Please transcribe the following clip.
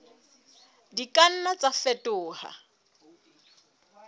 di ka nna tsa fetoha